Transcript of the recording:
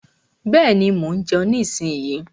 Bẹ́ẹ̀ni, mo ń jeun nísinyí.